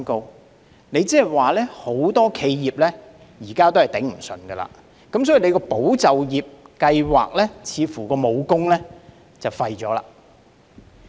換言之，很多企業現時也捱不住，所以"保就業"計劃似乎已被廢武功。